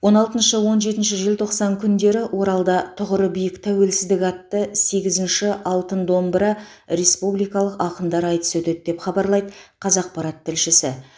он алтыншы он жетінші желтоқсан күндері оралда тұғыры биік тәуелсіздік атты сегізінші алтын домбыра республикалық ақындар айтысы өтеді деп хабарлайды қазақпарат тілшісі